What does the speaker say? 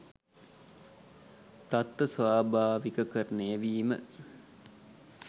තත්ත්ව ස්වාභාවිකකරණය වීම